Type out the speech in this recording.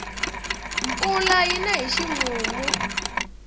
mpfula yina hi ximumu